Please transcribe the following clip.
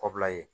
Kɔbila ye